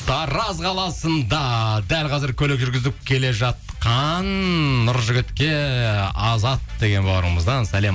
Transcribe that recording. тараз қаласында дәл қазір көлік жүргізіп келе жатқан нұржігітке азат деген бауырымыздан сәлем